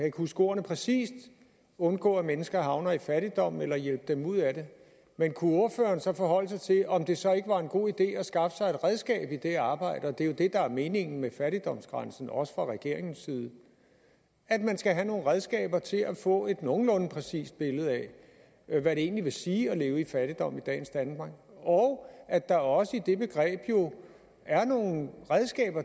ikke huske ordene præcist undgå at mennesker havner i fattigdom eller hjælpe dem ud af det men kunne ordføreren så forholde sig til om det så ikke var en god idé at skaffe sig et redskab i det arbejde det er jo det der er meningen med fattigdomsgrænsen også fra regeringens side at man skal have nogle redskaber til at få et nogenlunde præcist billede af hvad det egentlig vil sige at leve i fattigdom i dagens danmark og at der også i det begreb jo er nogle redskaber